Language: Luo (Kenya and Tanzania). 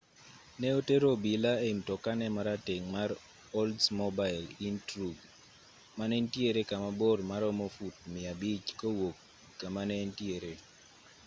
ne otero obila ei mtokane marateng' mar oldsmobile intruge mane nitiere kama bor maromo fut 500 kowuok kama ne entiere